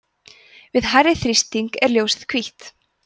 við hærri þrýsting er ljósið hvítt